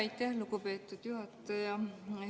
Aitäh, lugupeetud juhataja!